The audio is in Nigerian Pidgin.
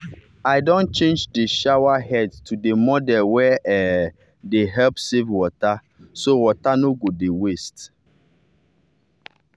i don change the shower head to the model wey um dey help save water so water no go dey waste.